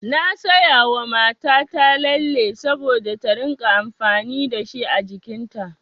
Na sayawa mata ta lalle saboda ta rinƙa amfani dashi a jikin ta.